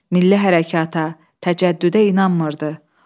Milli hərəkata, təcəddüdə inanmırdı.